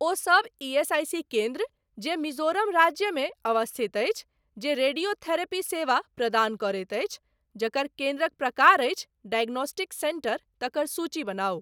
ओहि सब ईएसआईसी केन्द्र जे मिजोरम राज्यमे अवस्थित अछि, जे रेडियोथेरेपी सेवा प्रदान करैत अछि, जकर केन्द्रक प्रकार अछि डायग्नोस्टिक सेन्टर, तकर सूची बनाउ ।